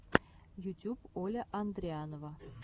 ютюб оля андрианова